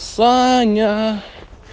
саня